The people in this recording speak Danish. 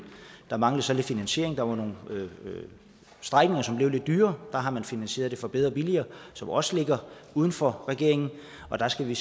der manglede så lidt finansiering der var nogle strækninger som blev lidt dyrere og der har man finansieret det fra bedre og billigere som også ligger uden for regeringen og der skal vi